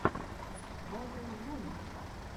батл вона